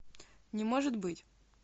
не может быть